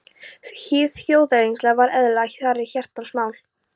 Hið þjóðernislega var eðlilega þeirra hjartans mál.